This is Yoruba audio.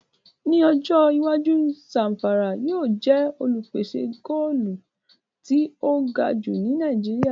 Ní ọjọ́ iwájú, Zàmfàrà yóò jẹ́ olùpèsè góòlù tí ó ga jù ní Nàìjíríà